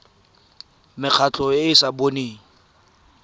mekgatlho e e sa boneng